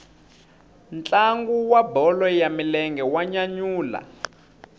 ntlangu wa bolo ya milenge wa nyanyula